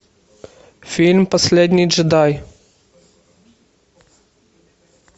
фильм последний джедай